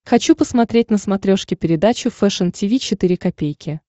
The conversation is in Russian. хочу посмотреть на смотрешке передачу фэшн ти ви четыре ка